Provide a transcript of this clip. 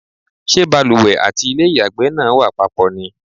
Ṣé balùwẹ̀ àti ilé ìyàgbẹ́ náà wà papọ̀ ni?